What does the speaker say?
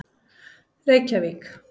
Reykjavík